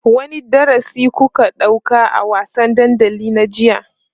wani darasi kuka ɗauka a wasan dandali na jiya?